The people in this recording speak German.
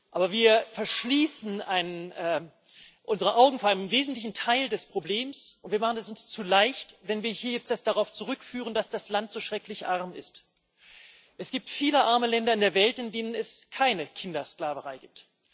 Aber wir verschließen unsere Augen vor einem wesentlichen Teil des Problems, und wir machen es uns zu leicht, wenn wir das hier jetzt darauf zurückführen, dass das Land so schrecklich arm ist. Es gibt viele arme Länder in der Welt, in denen es keine Kindersklaverei gibt.